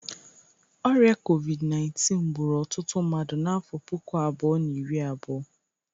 Ọrịa COVID_19 gburu ọtụtụ mmadụ n'afọ puku abụọ na iri abụọ.